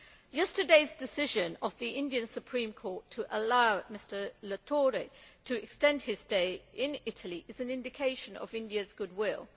Yesterday's decision of the Indian Supreme Court to allow Mr Latorre to extend his stay in Italy is an indication of India's goodwill.